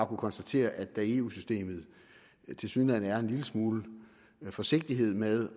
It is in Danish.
konstatere at der i eu systemet tilsyneladende er en lille smule forsigtighed med